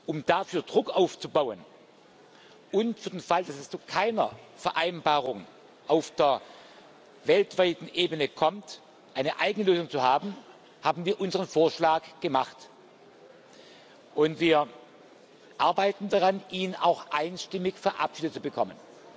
Um dafür Druck aufzubauen und für den Fall, dass es zu keiner Vereinbarung auf der weltweiten Ebene kommt, eine eigene Lösung zu haben, haben wir unseren Vorschlag gemacht, und wir arbeiten daran, ihn auch einstimmig verabschiedet zu bekommen.